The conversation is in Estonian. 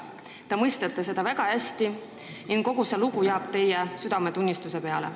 Te mõistate seda väga hästi ning kogu see lugu jääb teie südametunnistusele.